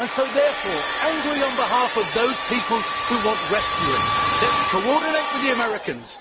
Therefore, angry on behalf of those people who want rescuing, let us coordinate with the Americans.